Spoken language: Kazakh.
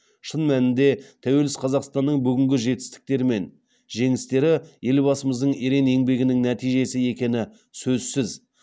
шын мәнінде тәуелсіз қазақстанның бүгінгі жетістіктері мен жеңістері елбасымыздың ерен еңбегінің нәтижесі екені сөзсіз